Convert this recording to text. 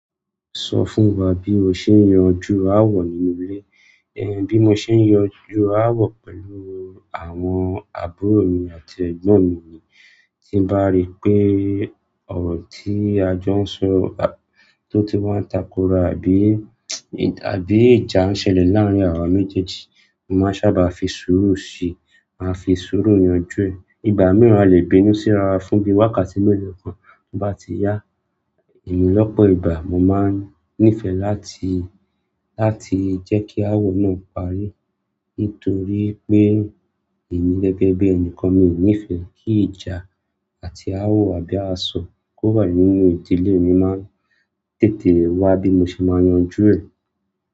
Sọ fún wa bí o ṣe ń yanjú ááwọ̀ nínú ilé. Ẹ̀h, bí mo ṣe ń yanjú ááwọ̀ pẹ̀lú àwọn àbúrò mi àti ẹ̀gbọ́n mi ni tí ń bá rí pé ọ̀rọ̀ tí a jọ ń sọ tó ti wá ń takora àbí, àbí ìjà n ṣẹlẹ̀ laarin awa méjèèjì, mo maa n sábà fi suuru si, a fi suuru yanju e. Ìgbà mi, a le bínú si ra wa fún bi wákàtí melo kan, to ba ti ya emi lọ́pọ̀ ìgbà, mo máa ń nífẹ̀ẹ́ láti, láti jẹ́ kí ááwọ̀ náà parí nítorí pé èmi gẹ́gẹ́ bí ẹnìkan mi ò nífẹ̀ẹ́ kí ìjà àti ááwọ̀ àbí àsọ̀ kó wà nínú ìdílé mi mo máà ń tètè wá bí mo ṣe máa ń yanjú ẹ̀.